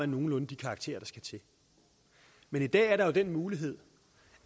nogenlunde de karakterer der skal til men i dag er der jo den mulighed